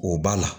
O b'a la